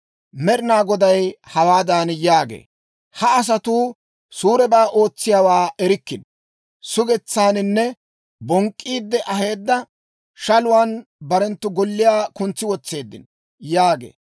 Med'inaa Goday hawaadan yaagee; «Ha asatuu suurebaa ootsiyaawaa erikkino; sugetsaaninne bonk'k'iide aheedda shaluwaan barenttu golliyaa kuntsi wotseeddino» yaagee.